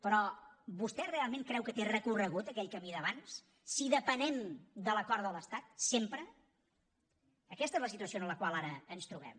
però vostè realment creu que té recorregut aquell camí d’abans si depenem de l’acord de l’estat sempre aquesta és la situació en la qual ara ens trobem